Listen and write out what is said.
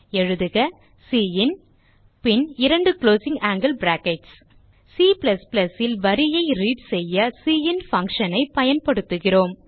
எழுதுக சின் பின் இரண்டு குளோசிங் ஆங்கில் பிராக்கெட்ஸ் C ல் வரியை ரீட் செய்ய சின் பங்ஷன் ஐ பயன்படுத்துகிறோம்